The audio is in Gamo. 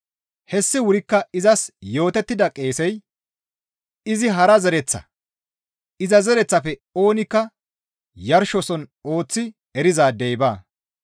Hessi wurikka izas yootettida qeesey izi hara zereththa; iza zereththaafe oonikka yarshoson ooththi erizaadey baa.